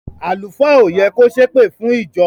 Àlùfáà o yẹ kò se èpèfún ìjọ.